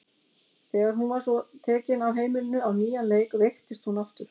Þegar hún svo var tekin af heimilinu á nýjan leik veiktist hún aftur.